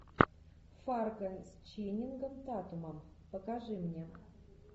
фарго с ченнингом татумом покажи мне